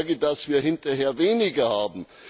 Ich habe Sorge, dass wir hinterher weniger haben.